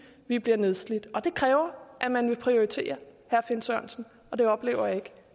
vi bliver nedslidt det kræver at man vil prioritere og det oplever jeg ikke